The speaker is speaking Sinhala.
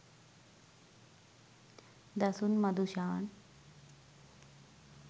dasun madushan